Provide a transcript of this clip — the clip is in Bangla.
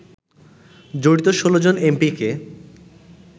জড়িত ১৬ জন এমপিকে